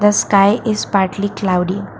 sky is partly cloudy.